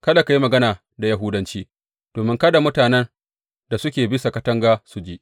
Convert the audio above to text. Kada ka yi mana magana da Yahudanci domin kada mutanen da suke bisa katanga su ji!